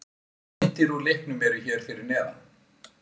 Myndir úr leiknum eru hér fyrir neðan